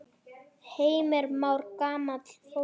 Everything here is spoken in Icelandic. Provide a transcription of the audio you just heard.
Heimir Már: Gamla fólkið?